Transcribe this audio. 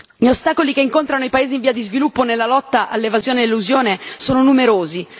Gli ostacoli che incontrano i paesi in via di sviluppo nella lotta all'evasione e all'elusione sono numerosi.